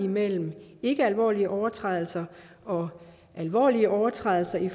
mellem ikkealvorlige overtrædelser og alvorlige overtrædelser i